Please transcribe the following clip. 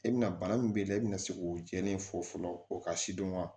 E bɛna bana min b'i la e bɛna se k'o jɛlen fɔ fɔlɔ o ka si dɔn wa